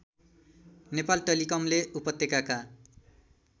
नेपाल टेलिकमले उपत्यकाका